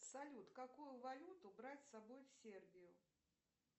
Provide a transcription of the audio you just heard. салют какую валюту брать с собой в сербию